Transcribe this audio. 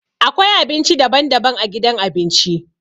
Akwai abinci daban-daban a gidan abinci.